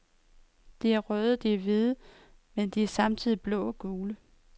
De er røde, de er hvide, men de er samtidig blå og gule.